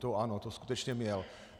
To ano, to skutečně měl.